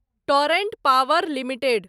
torrent Power limited